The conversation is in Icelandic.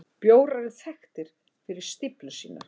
Bjórar eru þekktir fyrir stíflur sínar.